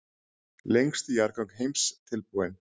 Lengstu jarðgöng heims tilbúin